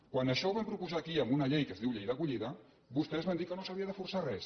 quan això ho vam propo·sar aquí en una llei que es diu llei d’acollida vostès van dir que no s’havia de forçar res